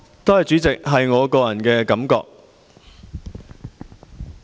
多謝主席，那是我的個人感覺。